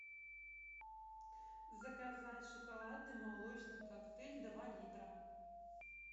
заказать шоколадный молочный коктейль два литра